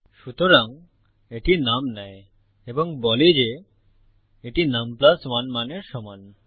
সুতরাং এটি নুম নেয় এবং বলে যে এটি নুম 1 মানের সমান